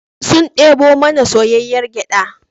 Sun debo mana soyayyar gyada